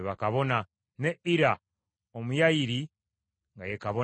ne Ira Omuyayiri nga ye kabona wa Dawudi.